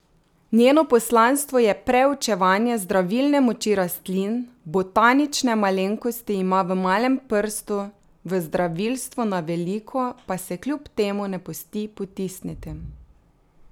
Njeno poslanstvo je preučevanje zdravilne moči rastlin, botanične malenkosti ima v malem prstu, v zdravilstvo na veliko pa se kljub temu ne pusti potisniti.